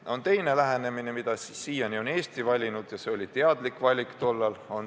Ja on teine lähenemine, mida siiani on Eesti õigemaks pidanud – ja see oli omal ajal teadlik valik.